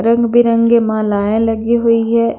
रंग बिरंगे मालाए लगी हुई हैं।